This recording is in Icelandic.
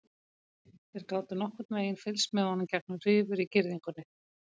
Þeir gátu nokkurn veginn fylgst með honum gegnum rifur á girðingunni.